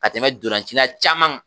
Ka tɛmɛ donlancila caman kan